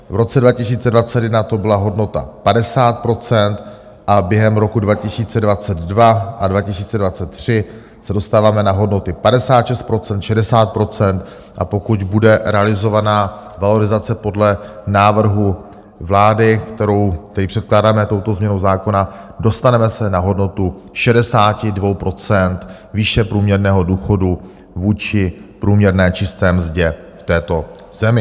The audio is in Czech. V roce 2021 to byla hodnota 50 % a během roku 2022 a 2023 se dostáváme na hodnoty 56 %, 60 %, a pokud bude realizovaná valorizace podle návrhu vlády, kterou tady předkládáme touto změnou zákona, dostaneme se na hodnotu 62 % výše průměrného důchodu vůči průměrné čisté mzdě v této zemi.